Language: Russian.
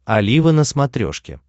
олива на смотрешке